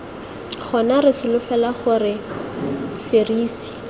gona re solofela gore serisi